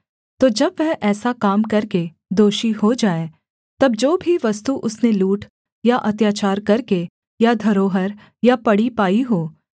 तो जब वह ऐसा काम करके दोषी हो जाए तब जो भी वस्तु उसने लूट या अत्याचार करके या धरोहर या पड़ी पाई हो